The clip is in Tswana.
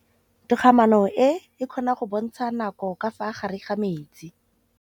Toga-maanô e, e kgona go bontsha nakô ka fa gare ga metsi.